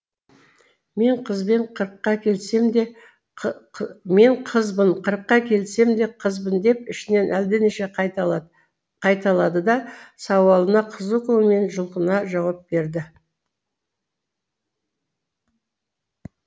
мен қызбын қырыққа келсем де қызбын деп ішінен әлденеше қайталады да сауалына қызу көңілмен жұлқына жауап берді